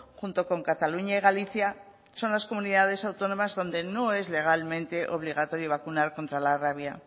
junto con cataluña y galicia son las comunidades autónomas donde no es legalmente obligatorio vacunar contra la rabia